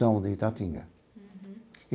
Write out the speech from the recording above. São de Itatinga.